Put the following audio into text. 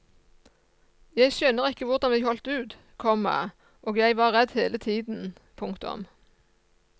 Jeg skjønner ikke hvordan vi holdt ut, komma og jeg var redd hele tiden. punktum